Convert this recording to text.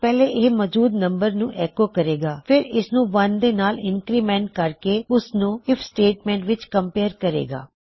ਪਹਲੇ ਇਹ ਮੋਜੂਦ ਨੰਬਰ ਨੂੰ ਐੱਕੋ ਕਰੇਗਾ ਫਿਰ ਇਸਨੂੰ 1 ਦੇ ਨਾਲ ਇੰਨਕਰੀਮੈਨਟ ਕਰੇਕੇ ਉਸ ਨੂੰ ਆਈਐਫ ਸਟੇਟਮੈਂਟ ਵਿੱਚ ਕਮਪੇਯਰ ਕਰੇਗਾ